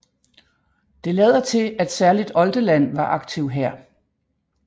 Det lader til at særligt Oldeland var aktiv her